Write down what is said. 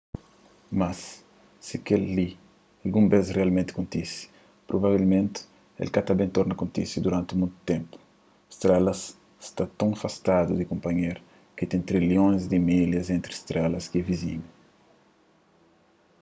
mas si kel-li algun bês rialmenti kontise provavelmenti el ka ta ben torna kontise duranti monti ténpu strelas sta ton afastadu di kunpanhéru ki ten trilhons di milhas entri strelas ki é vizinhus